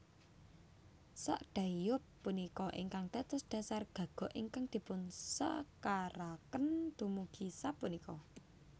Sakdaeyeob punika ingkang dados dhasar gagok ingkang dipunsekaraken dumugi sapunika